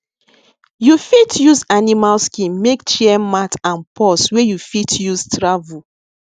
you fit use animal skin make chair mat and purse wey you fit use travel